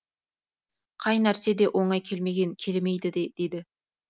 қай нәрсе де оңай келмеген келмейді де дейді